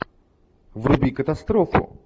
вруби катастрофу